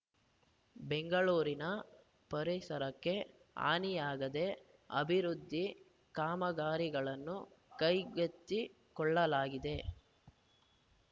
ಬೆಂಗಳೂರಿನ ಪರಿಸರಕ್ಕೆ ಹಾನಿಯಾಗದೆ ಅಭಿವೃದ್ಧಿ ಕಾಮಗಾರಿಗಳನ್ನು ಕೈಗೆತ್ತಿಕೊಳ್ಳಲಾಗಿದೆ